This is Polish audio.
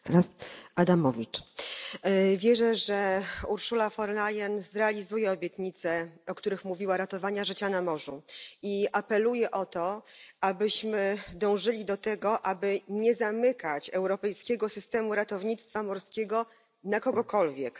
Panie Przewodniczący! Wierzę, że Ursula von der Leyen zrealizuje obietnice, o których mówiła obietnice ratowania życia na morzu. I apeluję, abyśmy dążyli do tego, aby nie zamykać europejskiego systemu ratownictwa morskiego na kogokolwiek.